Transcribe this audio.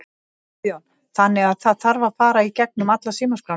Guðjón: Þannig að það þarf að fara í gegnum alla símaskrána?